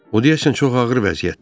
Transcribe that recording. O, deyəsən çox ağır vəziyyətdədir.